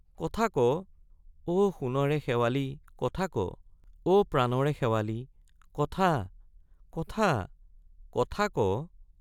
কথা ক— অ সোণৰে শেৱালি কথা ক অ প্ৰাণৰে শেৱালি কথা—কথা—কথা—ক!